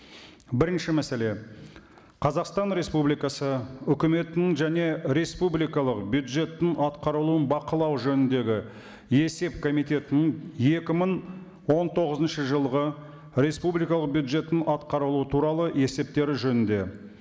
бірінші мәселе қазақстан республикасы үкіметінің және республикалық бюджеттің атқарылуын бақылау жөніндегі есеп комитетінің екі мың он тоғызыншы жылғы республикалық бюджетін атқарылуы туралы есептері жөнінде